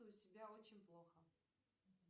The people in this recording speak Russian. себя очень плохо